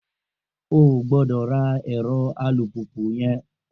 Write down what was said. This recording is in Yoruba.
O ò gbọ́dọ̀ ra ẹ̀rọ alùpùpù yẹn!